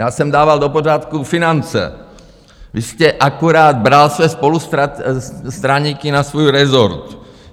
Já jsem dával do pořádku finance, vy jste akorát bral své spolustraníky na svůj rezort.